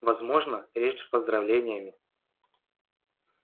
возможно речь с поздравлениями